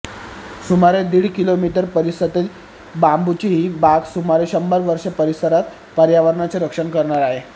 सुमारे दीड किलोमीटर परिसरातील बांबूंची ही बाग सुमारे शंभर वर्षे परिसरात पर्यावरणाचे रक्षण करणार आहे